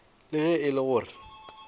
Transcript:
le ge e le gore